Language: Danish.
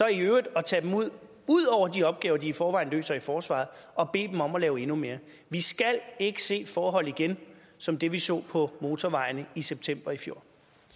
i øvrigt at tage dem ud udover de opgaver de i forvejen løser i forsvaret og bede dem om at lave endnu mere vi skal ikke se forhold igen som dem vi så på motorvejene i september i fjor